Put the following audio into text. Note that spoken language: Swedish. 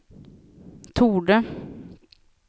torde